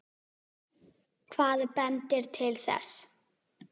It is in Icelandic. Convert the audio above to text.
Hvað bendir til þess?